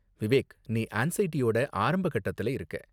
விவேக், நீ ஆன்ஸைடியோட ஆரம்பக் கட்டத்துல இருக்க.